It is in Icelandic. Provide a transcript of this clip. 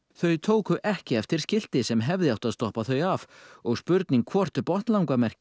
þau tóku ekki eftir skilti sem hefði átt að stoppa þau af og spurning hvort